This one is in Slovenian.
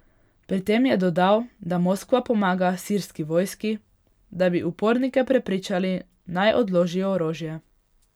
Pri tem je dodal, da Moskva pomaga sirski vojski, da bi upornike prepričali, naj odložijo orožje.